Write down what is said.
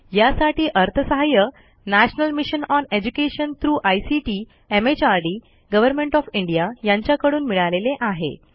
यासाठी अर्थसहाय्य national mission on education through ICT MHRD government of India यांच्याकडून मिळालेले आहे